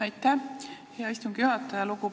Aitäh, hea istungi juhataja!